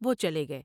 وہ چلے گئے ۔